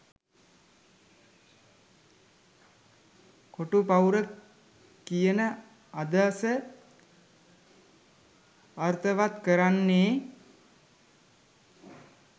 කොටු පවුර කියන අදහස අර්ථවත් කරන්නේ